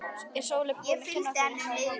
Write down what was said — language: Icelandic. Er Sóley búin að kenna þér eitthvað í málinu?